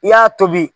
I y'a tobi